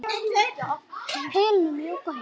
Helenu mjúk og heit.